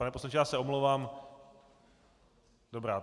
Pane poslanče, já se omlouvám - dobrá.